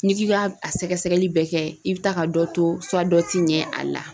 N'i k'i ka a sɛgɛsɛgɛli bɛɛ kɛ i bɛ taa ka dɔ to dɔ tɛ ɲɛ a la.